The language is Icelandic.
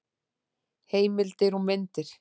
Heimildir og myndir: